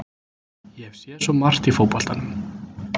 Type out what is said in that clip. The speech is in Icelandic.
Ég hef séð svo margt í fótboltanum.